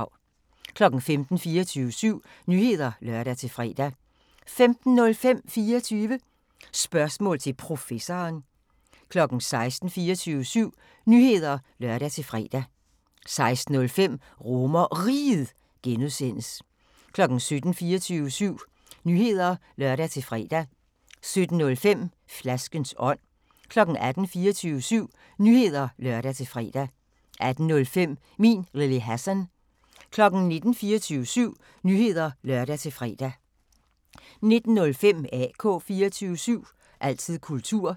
15:00: 24syv Nyheder (lør-fre) 15:05: 24 Spørgsmål til Professoren 16:00: 24syv Nyheder (lør-fre) 16:05: RomerRiget (G) 17:00: 24syv Nyheder (lør-fre) 17:05: Flaskens ånd 18:00: 24syv Nyheder (lør-fre) 18:05: Min Lille Hassan 19:00: 24syv Nyheder (lør-fre) 19:05: AK 24syv – altid kultur